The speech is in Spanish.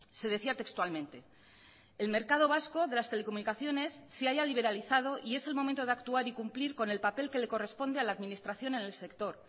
se decía textualmente el mercado vasco de las telecomunicaciones se ha ya liberalizado y es el momento de actuar y cumplir con el papel que le corresponde a la administración en el sector